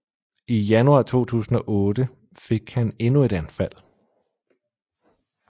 I januar 2008 fik han endnu et anfald